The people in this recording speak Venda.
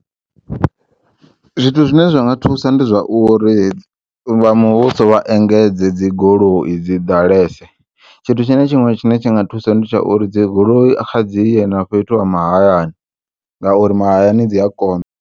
Zwithu zwine zwanga thusa ndi zwauri vha muvhuso vha engedze dzi goloi dzi ḓalese tshithu tshine tshiṅwe tshine tshinga thusa ndi tsha uri dzi goloi khadzi ye na fhethu ha mahayani ngauri mahayani dzi ya konḓa.